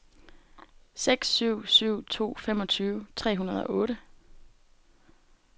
seks syv syv to femogtyve tre hundrede og otte